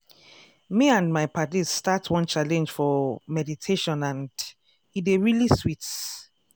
me and my paddies start one challenge for meditationand e dey really sweet.